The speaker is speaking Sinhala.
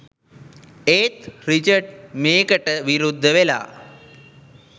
ඒත් රිචඩ් මේකටවිරුද්ධ වෙලා